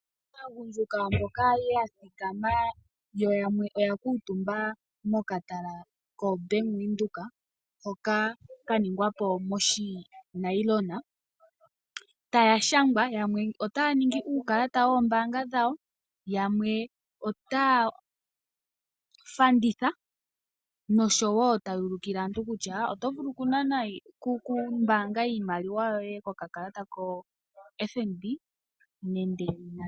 Aagundjuka mboka ya thikama yo yamwe oya kuutumba mokatala koBank Windhoek hoka ka ningwa po moshinayilona taya shangwa. Yamwe otaya ningi uukalata woombaanga dhawo, yamwe otaya fanditha noshowo taya ulukila aantu kutya oto vulu okumbaanga iimaliwa yoye kokakalata koFNB.